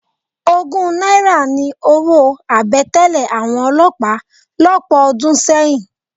Ogún náírà ni owó àbẹ̀tẹ́lẹ̀ àwọn olọ́pàá lọ́pọ̀ ọdún sẹ́yìn.